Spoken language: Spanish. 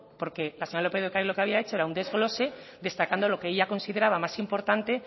porque la señora lópez de ocariz lo que había hecho era un desglose destacando lo que ella consideraba más importante